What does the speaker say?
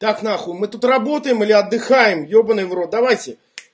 так нахуй мы тут работаем или отдыхаем ебаный в рот давайте